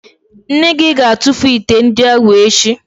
Nne gị ga-atụfu ite ndị ahụ echi